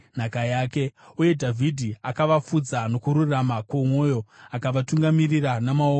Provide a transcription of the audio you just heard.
Uye Dhavhidhi akavafudza nokururama kwomwoyo; akavatungamirira namaoko ouchenjeri.